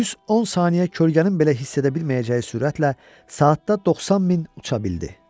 Düz 10 saniyə kölgənin belə hiss edə bilməyəcəyi sürətlə saatda 90 mil uça bildi.